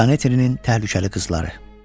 Daneterinin Terdyukalı qızları.